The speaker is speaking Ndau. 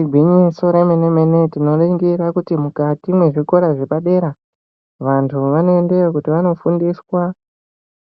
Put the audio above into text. Igwinyiso remene mene tinoningira kuti mukati mwezvikora zvepadera vantu vanoendayo kuti vandofundiswa